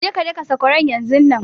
Je ka daka sakwaran yanzunnan!